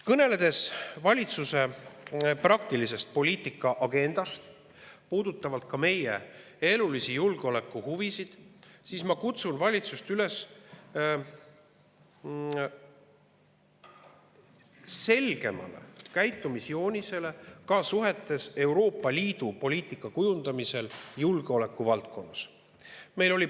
Kõneledes valitsuse praktilisest poliitikaagendast, mis puudutab ka meie elulisi julgeolekuhuvisid, kutsun valitsust üles selgemale käitumisjoonisele Euroopa Liidu poliitika kujundamisel julgeolekuvaldkonnas.